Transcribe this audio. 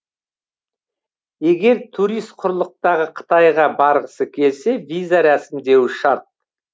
егер турист құрлықтағы қытайға барғысы келсе виза рәсімдеуі шарт